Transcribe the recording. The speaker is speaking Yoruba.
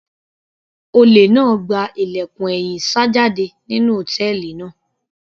Olè náà gba ilẹ̀kùn ẹ̀yìn sá jáde nínú hòtẹ́ẹ̀lì náà.